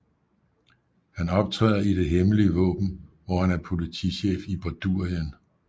Han optræder i Det Hemmelige Våben hvor han er politichef i Bordurien